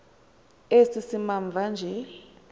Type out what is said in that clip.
esi simamva nje